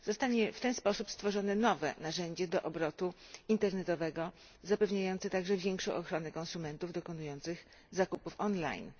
Zostanie w ten sposób stworzone nowe narzędzie do obrotu internetowego zapewniające także większą ochronę konsumentów dokonujących zakupów online.